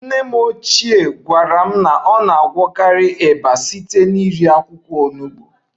Nne m ochie gwara m na ọ na-agwọkarị ịba site n'iri akwụkwọ Onugbo